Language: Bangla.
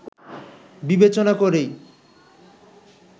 বিবেচনা করেই